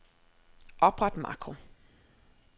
Opret makro.